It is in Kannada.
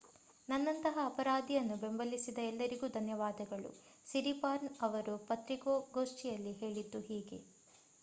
ನನ್ನಂತಹ ಅಪರಾಧಿಯನ್ನು ಬೆಂಬಲಿಸಿದ ಎಲ್ಲರಿಗೂ ಧನ್ಯವಾದಗಳು ಸಿರಿಪಾರ್ನ್ ಅವರು ಪತ್ರಿಕಾಗೋಷ್ಠಿಯಲ್ಲಿ ಹೇಳಿದ್ದು ಹೀಗೆ